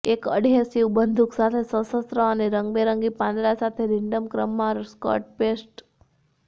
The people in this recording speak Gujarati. એક એડહેસિવ બંદૂક સાથે સશસ્ત્ર અને રંગબેરંગી પાંદડા સાથે રેન્ડમ ક્રમમાં સ્કર્ટ પેસ્ટ